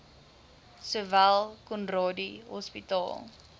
sowel conradie hospitaal